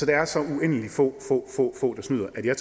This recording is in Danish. der er så uendelig få der snyder at jeg